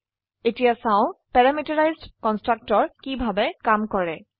এখন দেখি parameterised constructor কিভাবে কাজ কৰে